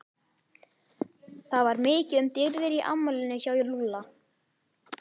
Það var mikið um dýrðir í afmælinu hjá Lúlla.